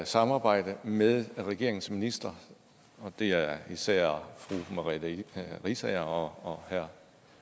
samarbejde med regeringens ministre og det er især fru merete riisager og herre